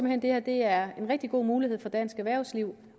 hen at det her er en rigtig god mulighed for dansk erhvervsliv